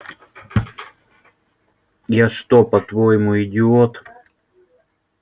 я что по-твоему идиот